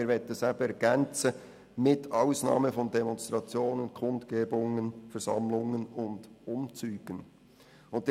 Wir möchten das Ergänzen, sodass Demonstrationen, Kundgebungen, Versammlungen und Umzüge davon ausgenommen sind.